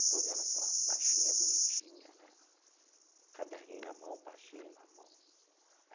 Estou vendo aquela baixinha bonitinha né, caderninho na mão, pastinha na mão.